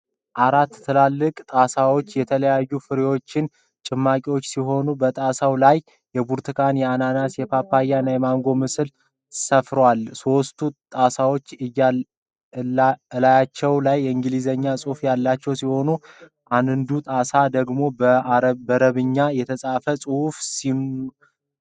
አራት ትላልቅ ጣሳዎች፤ የተለያዩ ፍራፍሬዎች ጭማቂ ሲሆኑ፤ በጣሳው ላይም የብርቱካን፣ የአናናስ፣ የፓፓያ እና የማንጎ ምስል ሰፍሯል። ሶስቱ ጣሳዎች እላያቸው ላይ የእንግሊዘኛ ጽሁፍ ያላቸው ሲሆን አንዱጣሳ ደግሞ በረበኛ የተጻፈ ጽሁፍ ሰፍሮበታል።